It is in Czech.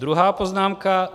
Druhá poznámka.